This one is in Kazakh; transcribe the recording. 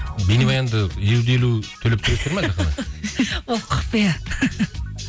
бейнебаянды елу де елу ол құпия